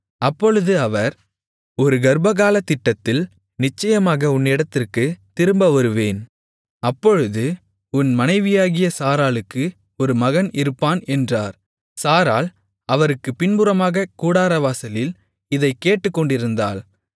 அப்பொழுது அவர் ஒரு கர்ப்பகாலத்திட்டத்தில் நிச்சயமாக உன்னிடத்திற்குத் திரும்ப வருவேன் அப்பொழுது உன் மனைவியாகிய சாராளுக்கு ஒரு மகன் இருப்பான் என்றார் சாராள் அவருக்குப் பின்புறமாகக் கூடாரவாசலில் இதைக் கேட்டுக்கொண்டிருந்தாள்